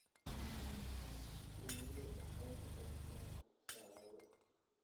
Shinnidu waxay shaqeysaa saacado